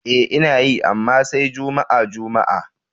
E, Ina yi, amma sai juma'a-juma'a.